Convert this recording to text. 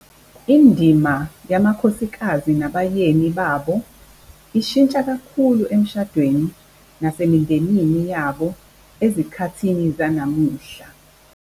Indima yamakhosikazi nabayeni babo ishintsha kakhulu emshadweni nasemindenini yabo ezikhathini zanamuhla.